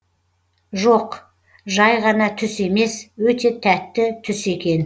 жоқ жай ғана түс емес өте тәтті түс екен